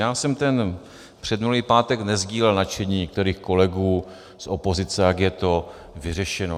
Já jsem ten předminulý pátek nesdílel nadšení některých kolegů z opozice, jak je to vyřešeno.